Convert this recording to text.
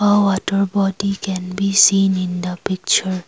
uh water body can be seen in the picture.